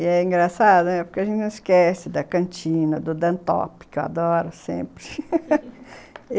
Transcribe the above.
E é engraçado, né, porque a gente não esquece da cantina, do que eu adoro sempre